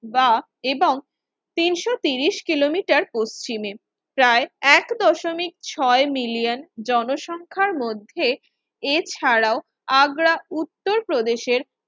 বা এবং তিনশো তিরিশ কিলোমিটার পশ্চিমে প্রায় এক দশমিক ছয় মিলিয়ন জনসংখ্যার মধ্যে এছাড়াও আগ্রা উত্তরপ্রদেশের